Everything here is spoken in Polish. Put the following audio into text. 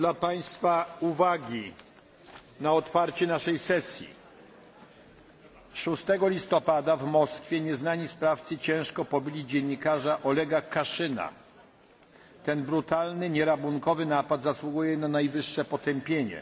w Moskwie nieznani sprawcy ciężko pobili dziennikarza Olega Kaszyna. Ten brutalny, nie rabunkowy napad zasługuje na najwyższe potępienie.